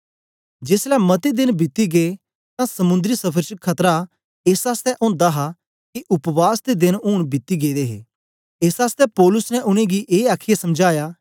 जेसलै मते देन बीती गै तां समुंदरी सफर च खतरा एस आसतै ओंदा हा के उपवास दे देन ऊन बीती गेदे हे एस आसतै पौलुस ने उनेंगी ए आखीयै समझाया